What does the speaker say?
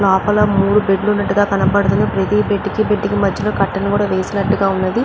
లోపల మూడు బెడ్లు ఉన్నట్టుగా కనబడుతున్నాయి. ప్రతి బెడ్డుకి బెడ్డుకి మధ్యలో కర్టెన్ వేసినట్టుగా ఉన్నది.